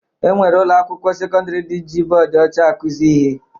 E nwere ụlọakwụkwọ sekọndịrị ndị ji bọọdụ ọcha akụzi ihe